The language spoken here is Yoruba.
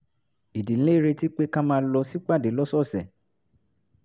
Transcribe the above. ìdílé ń retí pé ká máa lọ sípàdé lọ́sọ̀ọ̀sẹ̀